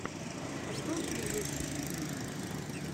открой первые выступления